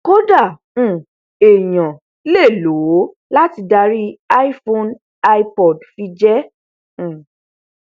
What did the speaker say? kódà um èèyàn lè lò ó lati darí iphone ipod fi jẹ ẹ́ um